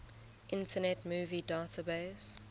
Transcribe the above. internet movie database